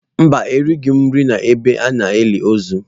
Mba, erighị m nri n'ebe a na-eli ozu.